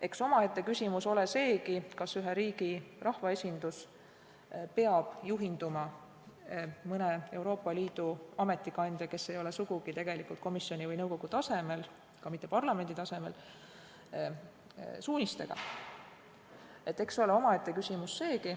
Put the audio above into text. Eks omaette küsimus ole seegi, kas ühe riigi rahvaesindus peab juhinduma mõne Euroopa Liidu ametikandja, kes ei ole sugugi komisjoni või nõukogu tasemel, ka mitte parlamendi tasemel, suunistest.